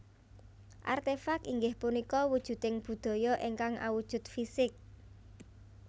Artèfak inggih punika wujuding budaya ingkang awujud fisik